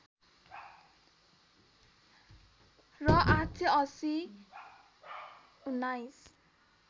र ८८० १९